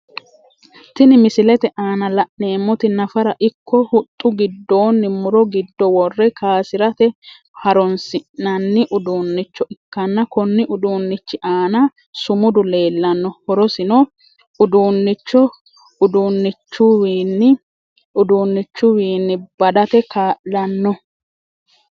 Tinni misilete aanna la'neemoti nafara iko huxu gidoonni muro gido wore kaasirate haroonsi'nanni uduunicho ikanna konni uduunichi aanna sumudu leelano horosino uduunicho uduunichuwiinni badate kaa'lano.